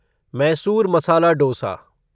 Mysore masala dosa